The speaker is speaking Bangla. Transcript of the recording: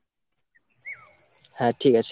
হ্যাঁ, ঠিক আছে।